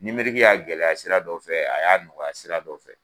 y'a gɛlɛya sira dɔ fɛ a y'a nɔgɔya sira dɔ fɛ